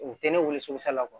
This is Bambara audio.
U tɛ ne wele so sala